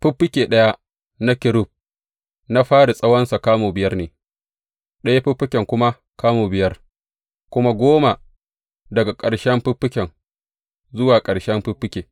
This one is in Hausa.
Fiffike ɗaya na kerub na fari tsawonsa kamu biyar ne, ɗayan fiffike kuma kamu biyar, kamu goma daga ƙarshen fiffike zuwa ƙarshen fiffike.